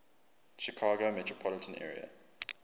chicago metropolitan area